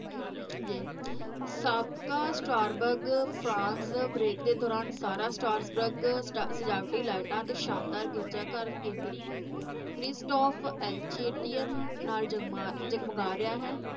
ਜੀ ਸਾਬਕਾ Strasbourg France break ਦੇ ਦੌਰਾਨ ਸਾਰਾ ਸਟਾਰਬਗ ਸਜਾ~ ਸਜਾਵਟੀ lights ਅਤੇ ਸ਼ਾਨਦਾਰ ਗਿਰਜ਼ਾ ਘਰ ਕੇਂਦਰੀ ਕਰਿਸਟਾਫ਼ ਐਲਚੇਟੀਅਨ ਨਾਲ ਜਗਮਾ ਜਗਮਗਾ ਰਿਹਾ ਹੈ